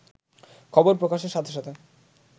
খবর প্রকাশের সাথে সাথে